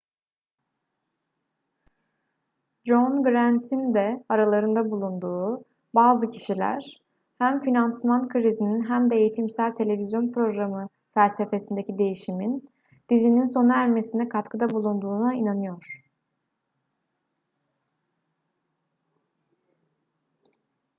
john grant'ın da aralarında bulunduğu bazı kişiler hem finansman krizinin hem de eğitimsel televizyon programı felsefesindeki değişimin dizininin sona ermesine katkıda bulunduğuna inanıyor